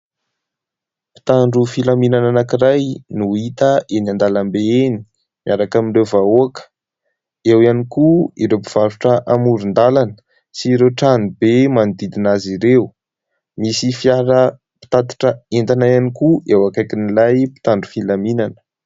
Mpitandro filaminana anankiray no hita eny an-dalambe eny miaraka amin'ireo vahoaka ; eo ihany koa ireo mpivarotra amoron-dalana sy ireo trano be manodidina azy ireo. Misy fiara mpitatitra entana ihany koa eo akaikin'ilay mpitandro filaminana.